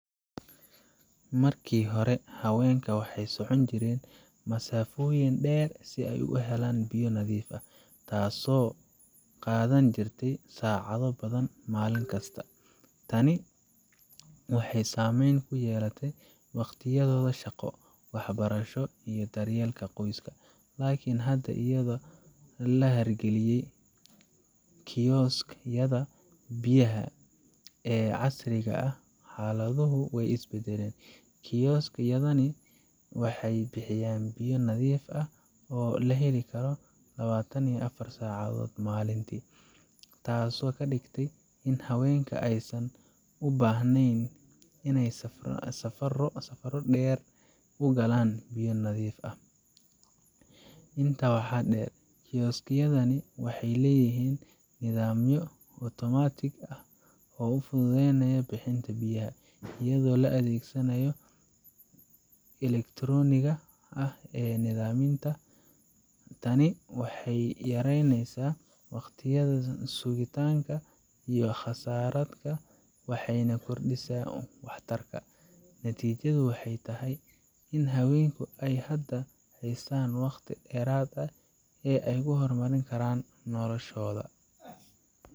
Markii hore, haweenka waxay socon jireen masaafooyin dheer si ay u helaan biyo nadiif ah, taasoo qaadan jirtay saacado badan maalin kasta. Tani waxay saameyn ku yeelatay waqtiyadooda shaqo, waxbarasho, iyo daryeelka qoyska. Laakiin hadda, iyadoo la hirgeliyey kiosks yada biyaha ee casriga ah, xaaladdu way is beddeshay. Kiosks yadani waxay bixiyaan biyo nadiif ah oo la heli karo lawatan iyo afar saacadood maalintii, taasoo ka dhigtay in haweenka aysan u baahnayn inay safarro dheer u galaan biyo nadiif ah . Intaa waxaa dheer, kiosks yadani waxay leeyihiin nidaamyo otomaatig ah oo fududeynaya bixinta biyaha, iyadoo la adeegsanayo kaararka elektarooniga ah ama nidaamyada Tani waxay yaraysay waqtiyada sugitaanka iyo kharashaadka, waxayna kordhisay waxtarka. Natiijadu waxay tahay in haweenka ay hadda haystaan waqti dheeraad ah oo ay ku horumarin karan noloshooda